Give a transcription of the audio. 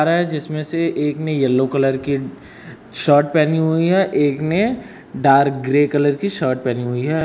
जिसमें से एक ने येलो कलर की शर्ट पेहनी हुई है एक ने डार्क ग्रे कलर की शर्ट पेहनी हुई है।